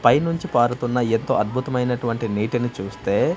పైనుంచి పారుతున్న ఎత్తు అద్భుతమైనటువంటి నీటిని చూస్తే--